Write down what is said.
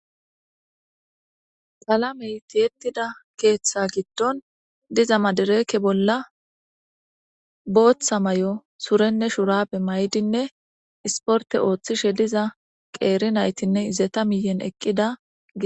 Qalaameyi tiyetida keeththa gidoni diza madirekke bolla botha mayo surenne shurabe mayidi issiporite ooththishe diza qeri nyitinne izeta miyeni ekidda